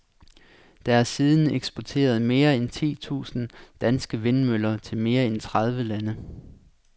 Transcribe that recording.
Der er siden eksporteret mere end ti tusind danske vindmøller til mere end tredive lande.